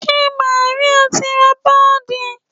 Ṣé Màríà ti ra páàdì?